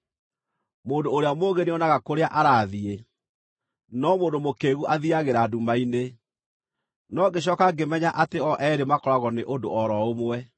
Mũndũ ũrĩa mũũgĩ nĩonaga kũrĩa arathiĩ, no mũndũ mũkĩĩgu athiiagĩra nduma-inĩ; no ngĩcooka ngĩmenya atĩ o eerĩ makoragwo nĩ ũndũ o ro ũmwe.